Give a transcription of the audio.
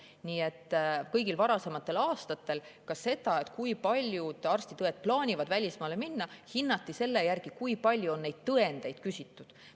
Nii et ka kõigil varasematel aastatel hinnati seda, kui paljud arstid ja õed plaanivad välismaale minna, selle järgi, kui palju oli neid tõendeid küsitud.